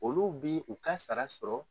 Olu bɛ u ka sara sɔrɔ